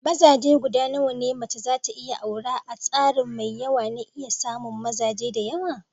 Mazaje gudanawa ne mece za ta iya aura a starin mai yawa na iya samun mazaje da yawa?